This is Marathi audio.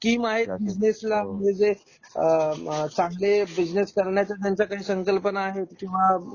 स्कीम आहेत बिझनेस ला किंवा जे चांगले बिझनेस करण्याच्या ज्यांचा काही संकल्पना आहे किंवा